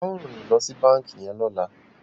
ao rìn lo si banki yen lola.